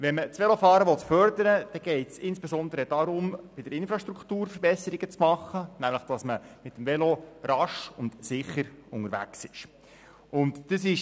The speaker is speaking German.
Will man das Velofahren fördern, muss man insbesondere bei der Infrastruktur Verbesserungen machen, damit man mit dem Velo rasch und sicher unterwegs ist.